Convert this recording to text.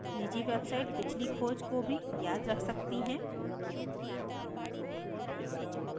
निजी websites पिछली खोज को भी याद रख सकती हैं